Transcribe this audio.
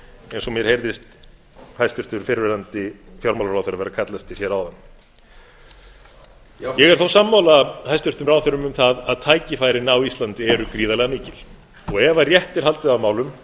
og mér heyrðist hæstvirtur fyrrverandi fjármálaráðherra kalla eftir hér áðan ég er þó sammála hæstvirtum ráðherrum um það að tækifærin á íslandi séu gríðarlega mikil ef rétt er haldið á málum